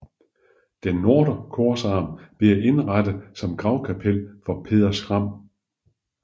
Den nordre korsarm blev indrettet som gravkapel for Peder Skram